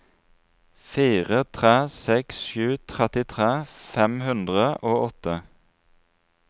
fire tre seks sju trettitre fem hundre og åtte